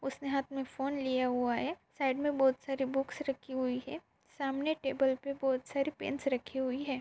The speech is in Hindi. उसने हात में फोन लिया हुआ है साइड में बहुत सारी बुक्स रखी हुई है। सामने टेबल पे बहुत सारे पेन्स रखे हुई है।